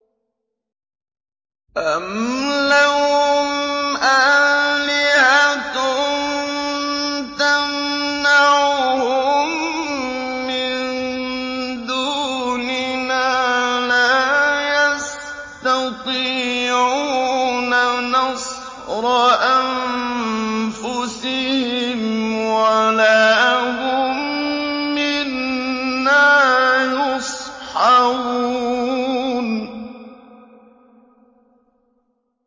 أَمْ لَهُمْ آلِهَةٌ تَمْنَعُهُم مِّن دُونِنَا ۚ لَا يَسْتَطِيعُونَ نَصْرَ أَنفُسِهِمْ وَلَا هُم مِّنَّا يُصْحَبُونَ